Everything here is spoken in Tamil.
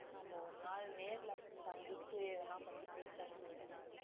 நம்ம ஒரு நாள் நேர்ல சந்திச்சு இதெல்லாம் பத்தி பேசலாம் நம்ப